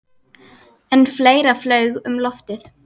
En fleira flaug um loftið.